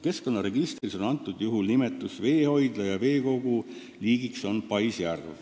Keskkonnaregistris on kirjas "veehoidla" ja "veekogu", liigiks on paisjärv.